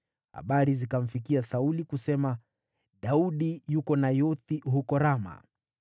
Habari zikamfikia Sauli kusema: “Daudi yuko Nayothi huko Rama.”